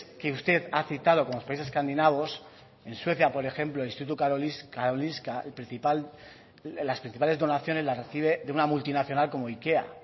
que usted ha citado como los países escandinavos en suecia por ejemplo instituto karolinska las principales donaciones las recibe de una multinacional como ikea